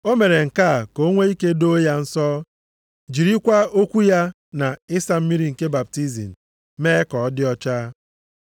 O mere nke a ka o nwee ike doo ya nsọ, jirikwa okwu ya na ịsa mmiri nke baptizim mee ka ọ dị ọcha.